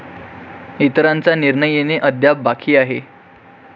इतरांचा निर्णय येणे अद्याप बाकी आहे.